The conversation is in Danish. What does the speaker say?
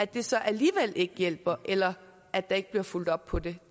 det så alligevel ikke hjælper eller at der ikke bliver fulgt op på det